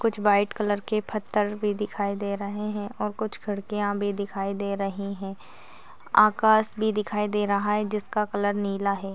कुछ white colour के पत्थर भी दिखाई दे रहे हैऔर कुछ खिड्किया भी दिखाई दे रही है आकाश भी दिखाई दे रहा है जिसका कलर नीला है।